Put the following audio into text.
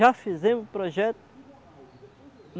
Já fizemos projeto.